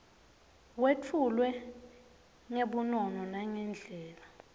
wetfulwe ngebunono nangendlela